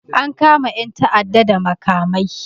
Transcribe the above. An kama 'yan ta'adda da makamai